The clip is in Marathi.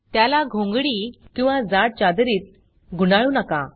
त्याला घोंगडी किंवा जाड चादरीत गुंडाळू नका